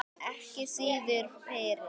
Ekki síður fyrir